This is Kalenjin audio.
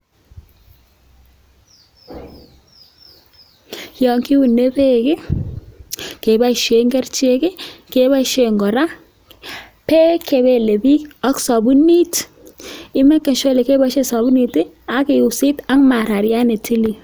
Yon kiune beek ii, keboishen kerichek, keboishen kora beek che belebik ok sobunit. Ii meken sure ile keboishen sobunit ii ak isit ak marariat ne tilil.